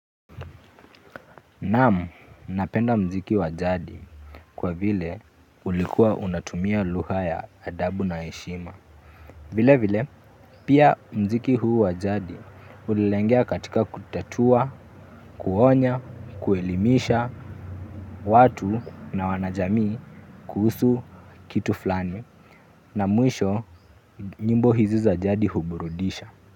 Naam, napenda mziki wa jadi kwa vile ulikuwa unatumia lugha ya adabu na heshima. Vile vile, pia mziki huu wa jadi ulilengea katika kutatua, kuonya, kuelimisha, watu na wanajamii kuhusu kitu fulani. Na mwisho, nyimbo hizi za jadi huburudisha.